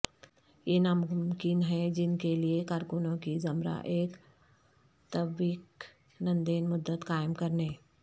یہ ناممکن ہے جن کے لئے کارکنوں کی زمرہ ایک تبویکندین مدت قائم کرنے